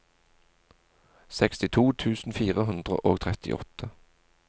sekstito tusen fire hundre og trettiåtte